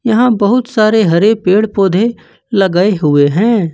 यहां बहुत सारे हरे पेड़ पौधे लगाए हुए हैं।